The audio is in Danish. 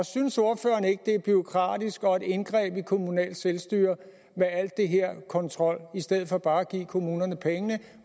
synes ordføreren ikke det er bureaukratisk og et indgreb i kommunalt selvstyre med al den her kontrol i stedet for bare at give kommunerne pengene